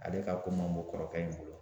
Ale ka ko man bon kɔrɔkɛ in bolo